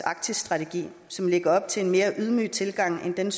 arktisstrategi som lægger op til en mere ydmyg tilgang end